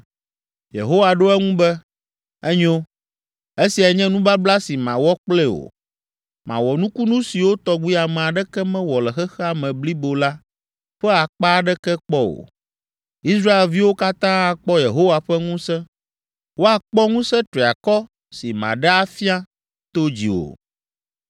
Yehowa ɖo eŋu be, “Enyo. Esiae nye nubabla si mawɔ kple wò. Mawɔ nukunu siwo tɔgbi ame aɖeke mewɔ le xexea me blibo la ƒe akpa aɖeke kpɔ o. Israelviwo katã akpɔ Yehowa ƒe ŋusẽ. Woakpɔ ŋusẽ triakɔ si maɖe afia to dziwò.”